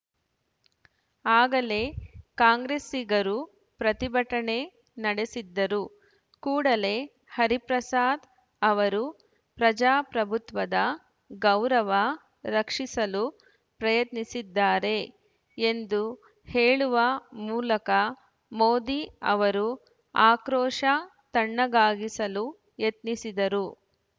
ಆಗಲೇ ಕಾಂಗ್ರೆಸ್ಸಿಗರು ಪ್ರತಿಭಟನೆ ನಡೆಸಿದ್ದರು ಕೂಡಲೇ ಹರಿಪ್ರಸಾದ್‌ ಅವರು ಪ್ರಜಾಪ್ರಭುತ್ವದ ಗೌರವ ರಕ್ಷಿಸಲು ಪ್ರಯತ್ನಿಸಿದ್ದಾರೆ ಎಂದು ಹೇಳುವ ಮೂಲಕ ಮೋದಿ ಅವರು ಆಕ್ರೋಶ ತಣ್ಣಗಾಗಿಸಲು ಯತ್ನಿಸಿದ್ದರು